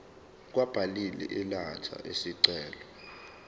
kwababili elatha isicelo